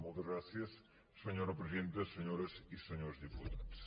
moltes gràcies senyora presidenta senyores i senyors diputats